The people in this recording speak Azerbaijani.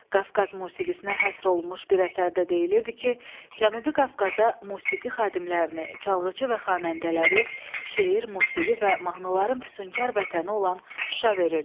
Qafqaz musiqisinə həsr olunmuş bir əsərdə deyilirdi ki, Cənubi Qafqaza musiqi xadimlərini, çalğıçı və xanəndələri, şeir, musiqi və mahnıların füsunkar vətəni olan Şuşa verirdi.